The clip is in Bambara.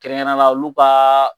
Kɛrɛnkɛrɛnna olu ka